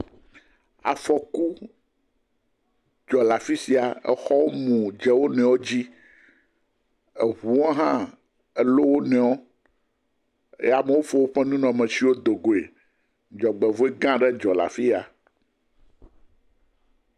Afɔku dzɔ le afi sia. Xɔwo mu dze wonuiwo dzi. Ŋuwo hã lɔ wonuiwo ye amewo fɔ woƒe nunɔamesiwo do goe.